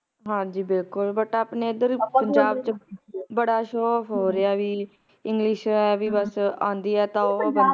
ਹਾਂਜੀ ਬਿਲਕੁਲ but ਆਪਣੇ ਏਧਰ ਪੰਜਾਬ ਚ ਬੜਾ showoff ਹੋ ਰਿਹਾ ਵੀ ਬਸ english ਆਂਦੀ ਏ ਤਾ ਉਹ